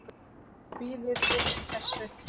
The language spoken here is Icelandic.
Kvíðirðu þessu?